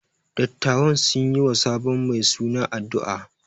Dattawan sun yi wa sabon mai suna addu’a.